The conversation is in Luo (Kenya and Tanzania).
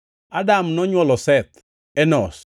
Adam nonywolo Seth, Enosh.